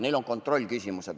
Neil on kontrollküsimused.